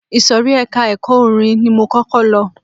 Ìsòrí ẹka ẹ̀kọ́ orin ni mo kọ́kọ́ lọ.